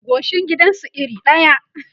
goshin gidan su iri ɗaya